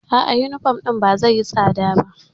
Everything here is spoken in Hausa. A'a, yunifom ɗin ba zai yi tsada ba.